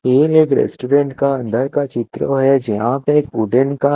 ये एक रेस्टोरेंट का अन्दर का चित्त्र है जहा पे एक वुडेन का--